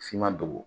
F'i ma dogo